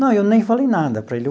Não, eu nem falei nada para ele.